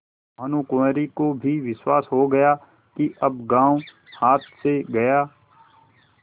भानुकुँवरि को भी विश्वास हो गया कि अब गॉँव हाथ से गया